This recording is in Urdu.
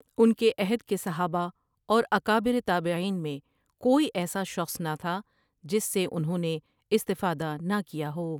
ان کے عہد کے صحابہ اوراکابر تابعین میں کوئی ایسا شخص نہ تھا جس سے انہوں نے استفادہ نہ کیا ہو۔